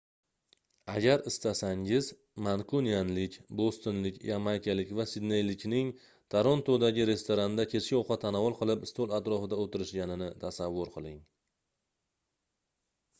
agar istasangiz mankunianlik bostonlik yamaykalik va sidneylikning torontodagi restoranda kechki ovqat tanovul qilib stol atrofida oʻtirishganini tasavvur qiling